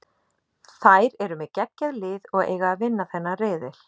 Þær eru með geggjað lið og eiga að vinna þennan riðil.